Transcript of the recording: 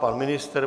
Pan ministr?